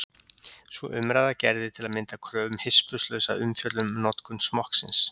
Sú umræða gerði til að mynda kröfu um hispurslausa umfjöllun um notkun smokksins.